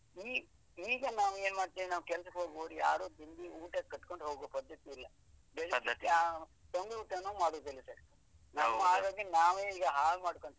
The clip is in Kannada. ಈ ಈಗ ನಾವು ಏನ್ ಮಾಡ್ತೇವೆ, ನಾವು ಕೆಲ್ಸಕ್ಕೆ ಹೋಗುವವರು ಯಾರು ತಿಂಡಿ ಊಟ ಕಟ್ಕೊಂಡು ಹೋಗೋ ಪದ್ಧತಿ ಇಲ್ಲ ಬೆಳಿಗ್ಗೆ ಹಾ ತಂಗ್ಳೂಟನೂ ಮಾಡುದಿಲ್ಲ ಸರ್ ನಮ್ ಆರೋಗ್ಯನ ನಾವೇ ಈಗ ಹಾಳ್ ಮಾಡ್ಕೊಳ್ತಿದ್ದೀವಿ.